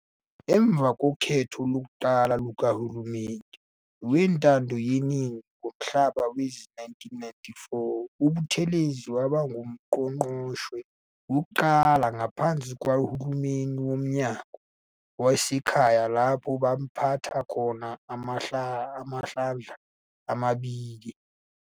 Emva kokhetho lokuqala lukaHulumeni weNtando yeNingi ngoNhlaba wezi-1994 uButhelezi waba nguNqgongqoshe wokuqala ngaphansi kwalohulumeni woMnyango wezaseKhaya, lapho abapatha khona amahlandla amabili.